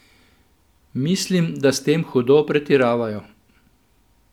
Mislim, da s tem hudo pretiravajo.